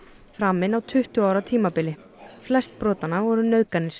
framin á tuttugu ára tímabili flest brotanna voru nauðganir